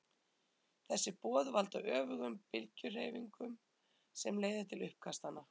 þessi boð valda öfugum bylgjuhreyfingunum sem leiða til uppkastanna